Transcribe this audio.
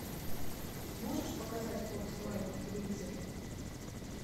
можешь показать фокс лайф на телевизоре